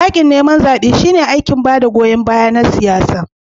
Yaƙin neman zaɓe shine aikin ba da goyon baya na siyasa.